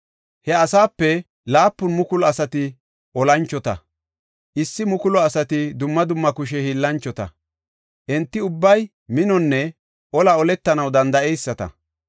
He asape 7,000 asati olanchota; 1,000 asati dumma dumma kushe hiillanchota; enti ubbay minonne olaa oletanaw danda7eyisata.